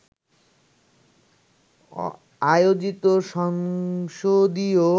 আয়োজিত সংসদীয়